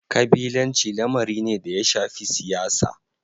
Kabilanci lamari ne da ya shafi siyasa.